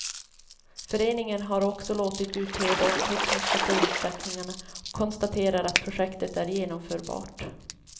Föreningen har också låtit utreda de tekniska förutsättningarna och konstaterar att projektet är genomförbart.